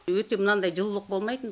өте мынандай жылылық болмайтын